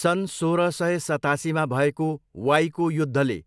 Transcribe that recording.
सन् सोह्र सय सतासीमा भएको वाईको युद्धले